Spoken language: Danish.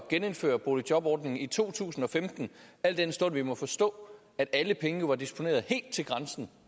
genindføre boligjobordningen i to tusind og femten al den stund at vi må forstå at alle pengene jo var disponeret helt til grænsen